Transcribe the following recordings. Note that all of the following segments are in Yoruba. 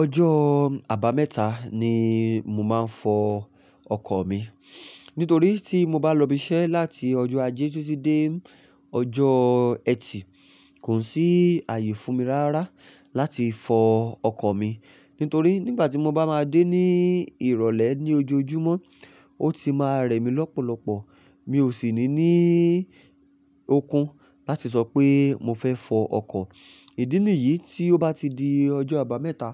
Ọjọ́ àbámẹ́ta ni mo máa ń fọ ọkọ̀ mi. Nítorí tí mo bá lọ ibi iṣẹ́ láti ọjọ́ ajé títí dé ọjọ́ ẹtì, kò sí ààyè fún mi rárá láti fọ ọkọ̀ mi. Nítorí nígbà tí mo bá máa dé ní ìrọ̀lẹ́ ní ojoojúmọ́, ó ti máa rẹ̀ mí lọ́pọ̀lọpọ̀. Mi ò sì ní ní okun láti sọ pé mo fẹ́ fọ ọkọ̀. Ìdínìyí tí ó bá ti di ọjọ́ àbámẹ́ta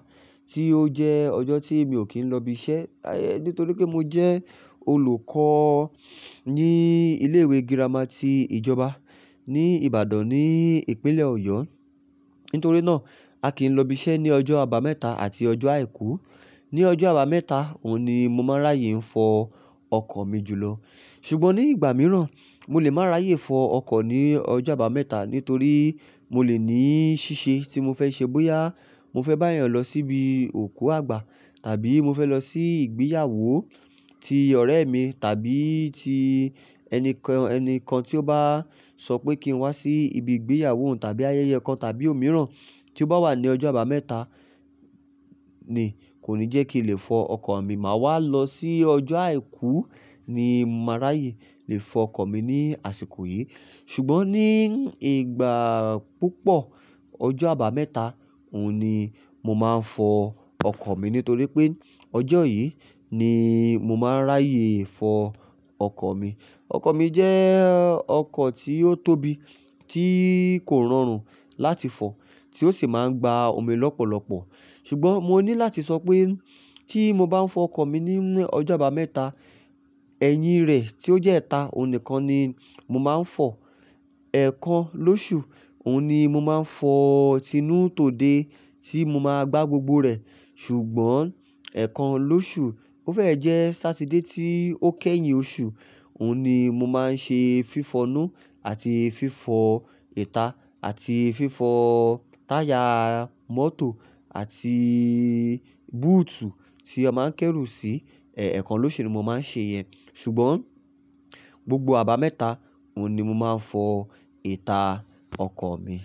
tí ó jẹ́ ọjọ́ tí mi ò kí ń lọ ibi iṣẹ́. Nítorí pé mo jẹ́ olùkọ́ ní ilé ìwé girama ti ìjọba ní Ìbàdàn ní ìpínlẹ̀ Ọ̀yọ́. Nítorí náà, a kì í lọ ibi iṣẹ́ ní ọjọ́ àbámẹ́ta àti ọjọ́ àìkú. Ní ọjọ́ àbámẹ́ta, òun ni mo máa ráyè ń fọ ọkọ̀ mi jùlọ. Ṣùgbọ́n ní ìgbà mìíràn, mo lè máa ráyè fọ ọkọ̀ ní ọjọ́ àbámẹ́ta nítorí mo lè ní ṣíṣe tí mo fẹ́ ṣe bóyá mo fẹ́ bá èèyàn lọ síbi òkú àgbà, tàbí mo fẹ́ lọ sí ìgbéyàwó ti ọ̀rẹ́ mi tàbí ti ẹni kan, ẹni kan tí ó bá sọ pé kí n wá sí ibi ìgbéyàwó òun tàbí ayẹyẹ kan tàbí òmíràn tí ó bá wà ní ọjọ́ àbámẹ́ta ni kò ní jẹ́ kí n lè fọ ọkọ̀ mi. Màá wá lọ sí ọjọ́ àìkú ni mo máa ráyè lè fọ ọkọ̀ mi ní àsìkò yìí. Ṣùgbọ́n ní ìgbà púpọ̀, ọjọ́ àbámẹ́ta òun ni mo máa ń fọ ọkọ̀ mi. Nítorí pé ọjọ́ yìí ni mo máa ń ráyè fọ ọkọ̀ mi. Ọkọ̀ mi jẹ́ ọkọ̀ tí ó tóbi tí kò rọrùn láti fọ, tí ó sì máa ń gba omi lọ́pọ̀lọpọ̀. Ṣùgbọ́n mo ní láti sọ pé tí mo bá ń fọ ọkọ̀ mi ní ọjọ́ àbámẹ́ta, ẹ̀yìn rẹ̀ tí ó jẹ́ ẹta, òun nìkan ni mo máa ń fọ. Ẹ̀kan lóṣù, òun ni mo máa ń fọ tinu to dé tí mo máa gbá gbogbo rẹ̀. Ṣùgbọ́n ẹ́ẹ̀kan lóṣù, ó fẹ́ jẹ́ Saturday tí ó kẹ́yìn oṣù, òun ni mo máa ń ṣe fífọ inú àti fífọ ìta àti fífọ táyà mọ́tò àti búùtù tí a máa ń kérù sí. Ẹ̀kan lóṣù ni mo máa ń ṣe iyẹn. Ṣùgbọ́n gbogbo àbámẹ́ta, òun ni mo máa ń fọ ìta ọkọ̀ mi.